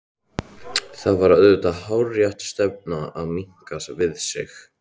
Það var auðvitað hárrétt stefna að minnka við sig.